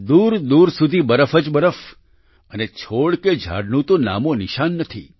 દૂરદૂર સુધી બરફ જ બરફ અને છોડ કે ઝાડનું તો નામોનિશાન નથી